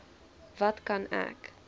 wat kan ek